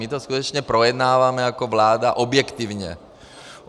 My to skutečně projednáváme jako vláda objektivně.